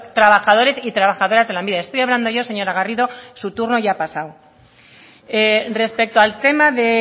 trabajadores y trabajadoras de lanbide estoy hablando yo señora garrido su turno ya ha pasado respecto al tema de